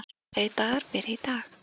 Hinsegin dagar byrja í dag.